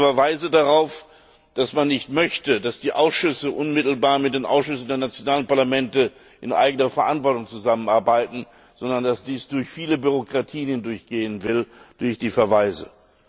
Ich sehe zu viele Verweise darauf, dass man nicht möchte, dass die Ausschüsse unmittelbar mit den Ausschüssen der nationalen Parlamente in eigener Verantwortung zusammenarbeiten, sondern dass dies über viele Bürokratien laufen soll.